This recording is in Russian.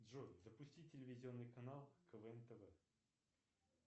джой запусти телевизионный канал квн тв